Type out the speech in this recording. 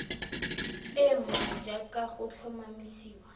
e nngwe jaaka go tlhomamisiwa